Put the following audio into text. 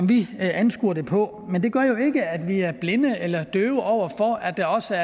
vi anskuer det på men det gør jo ikke at vi er blinde eller døve over for at der også